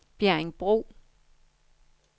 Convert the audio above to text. Bjerringbro